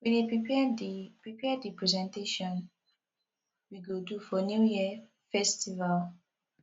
we dey prepare the prepare the presentation we go do for new yam festival